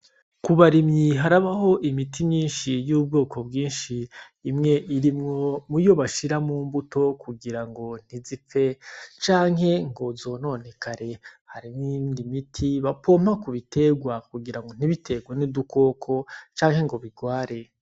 Ku barimyi harabaho imiti myinshi y'ubwoko bwinshi imwe irimwo muyo bashira mu mbuto kugira ntizipfe canke ngo zononekare. Hari n'iyindi miti bapompa ku biterwa kugira ntibiterwe n'udukoko canke ngo bigware.